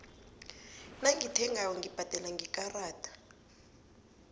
nangithengako ngibhadela ngekarada